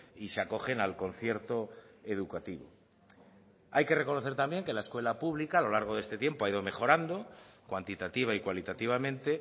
y se acogen al concierto educativo hay que reconocer también que la escuela pública a lo largo de este tiempo ha ido mejorando cuantitativa y cualitativamente